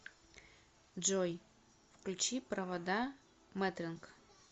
джой включи провода матранг